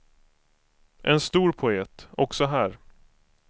En stor poet, också här.